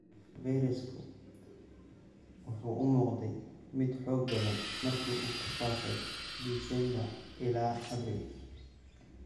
Fayrasku wuxuu u muuqday mid xoog badan markii uu ku faafay Disembar ilaa Abriil.